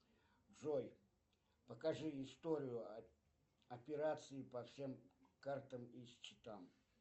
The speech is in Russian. джой покажи историю операций по всем картам и счетам